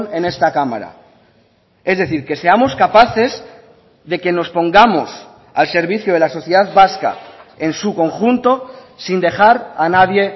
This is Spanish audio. en esta cámara es decir que seamos capaces de que nos pongamos al servicio de la sociedad vasca en su conjunto sin dejar a nadie